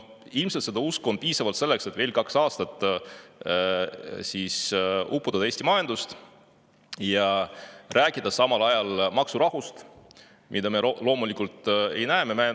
Ilmselt on seda usku piisavalt selleks, et veel kaks aastat uputada Eesti majandust ja rääkida samal ajal maksurahust, mida me loomulikult ei näe.